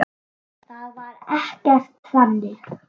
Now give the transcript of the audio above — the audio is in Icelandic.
Það var ekkert þannig.